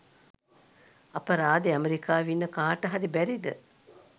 අපරාදෙ ඇමරිකාවෙ ඉන්න කාට හරි බැරිද